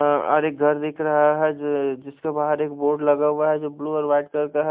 और एक घर दिख रहा है जी जिसके बाहार एक बोर्ड लगा हुआ है जो ब्लू और वाइट कलर का है।